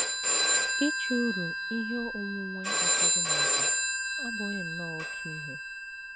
Ịchụ uru ihe onwunwe ụfọdụ n’àjà abụghị nnọọ oké ihe.